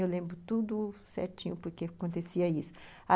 Eu lembro tudo certinho porque acontecia isso.